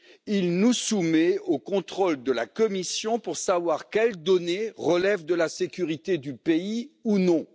Il nous soumet au contrôle de la Commission pour savoir quelles données relèvent de la sécurité du pays ou non.